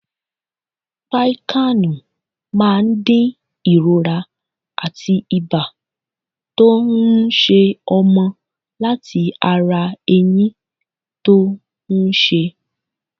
Piccan máa dín ìrora àti ibá tó ń ṣẹ ọmọ látí ara ẹyín tó ń ṣe.